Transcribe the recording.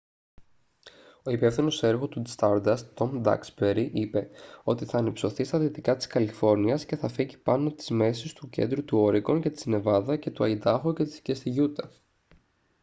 ο υπεύθυνος έργου του stardust τομ ντάξμπερι είπε ότι «θα ανυψωθεί στα δυτικά της καλιφόρνιας και θα φέγγει πάνω της μέσω του κέντρου του όρεγκον και της νεβάδα και του αϊντάχο και στη γιούτα»